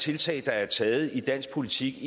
tiltag der er taget i dansk politik